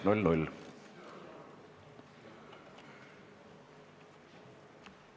Istungi lõpp kell 11.41.